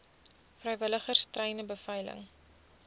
vrywilligers treine beveilig